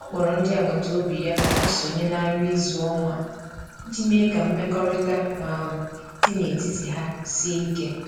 O kpọrọ ndị agbata obi ya ka ha sonye na nri izu ọnwa iji mee ka mmekọrịta um dị n’etiti ha sie ike.